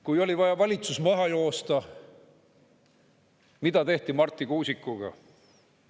Kui oli vaja valitsus maha joosta, siis mida tehti Marti Kuusikuga?